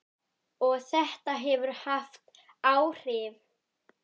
Og þetta hefur haft áhrif.